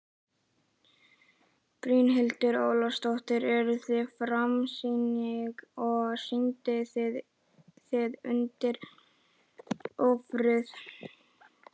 Brynhildur Ólafsdóttir: Eruð þið skammsýnir og kyndið þið undir ófriði?